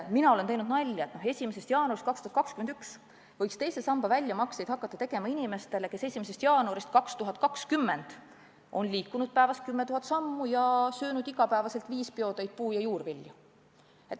Mina olen teinud nalja, et 1. jaanuarist 2021 võiks teise samba väljamakseid hakata tegema inimestele, kes 1. jaanuarist 2020 on liikunud päevas 10 000 sammu ja söönud iga päev viis peotäit puu- ja juurvilju.